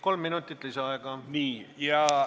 Kolm minutit lisaaega.